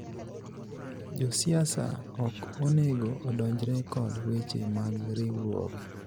josiasa ok onego odonjre kod weche mag riwruoge